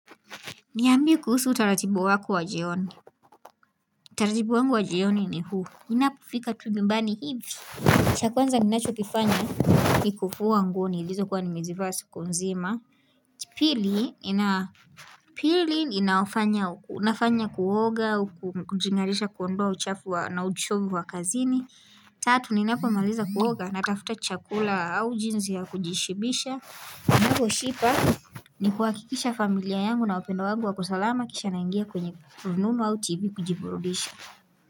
Niambie kuhusu utaratibu wako wa jioni. Utaratibu wangu wa jioni ni huu. Inapofika tu nyumbani hivi. Cha kwanza ninacho kifanya ni kufua nguo nilizo kuwa ni mezivaa saku nzima. Pili ninafanya kuoga, kujingarisha kuondoa uchafu na uchovu wa kazini. Tatu ninapo maliza kuoga na tafuta chakula au jinzi ya kujishibisha. Kani kuhahakisha familia yangu na wapendwa wangu wako salama. Kisha naingia kwenye rununu au TV kuji burudisha.